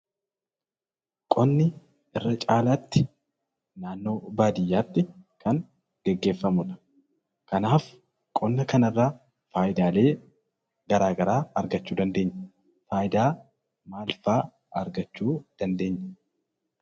Qonni irra caalaatti naannoo baadiyaatti kan gaggeeffamuu dha. Kanaaf qonna kana irraa faayidaa garaa garaa argachuu dandeenya. Faayidaa maal fa'aa argachuu dandeenya?